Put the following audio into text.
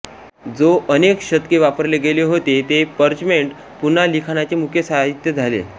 जे अनेक शतके वापरले गेले होते ते पर्चमेंट पुन्हा लिखाणाचे मुख्य साहित्य झाले